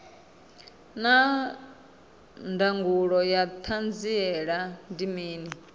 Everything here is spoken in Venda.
naa ndangulo ya hanziela ndi mini